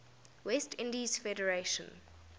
west indies federation